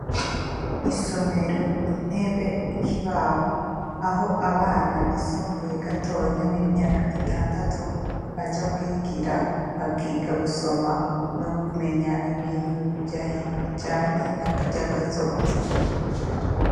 Isomero, intebe, ikibaho; aho abana bisumbuye gatonya b'imyaka itandatu, baja kwigira, bakiga gusoma no kumenya ibintu bijanye n'ivya kazoza.